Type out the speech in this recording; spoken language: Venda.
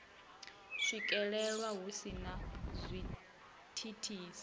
swikelelwa hu si na zwithithisi